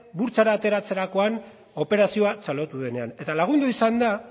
burtsara ateratzerakoan operazio txalotu denean eta lagundu izan da